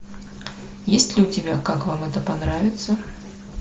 есть ли у тебя как вам это понравится